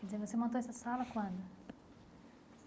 Quer dizer, você montou essa sala quando?